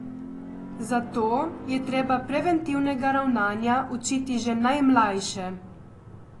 Zato je treba preventivnega ravnanja učiti že najmlajše.